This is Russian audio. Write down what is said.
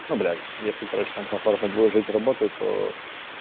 ну блядь если короче там комфортно будет жить работать то